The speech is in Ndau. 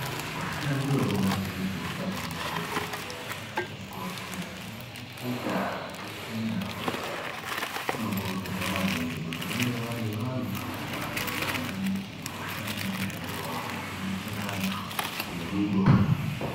Vashandi vekubazi rezveutano madhokodheya nanamukoti ana nyamukuta zveshe nana mbuya utano vanokurudzirwa maningi kuti vange vari vantu vanoda maningi kushanda mushando wavo ngekudetsera vantu ngerudo.